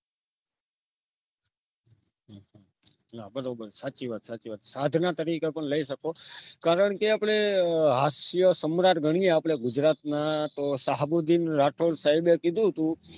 ના બરોબર સાચી સાચી વાત સાધના તરીકે પણ લઈ સકો કારણ કે આપણે હાસ્ય સમ્રાટ ગણીએ ગુજરાતના સહાબુદીન રાઠોડ સાહેબ કીધું હતું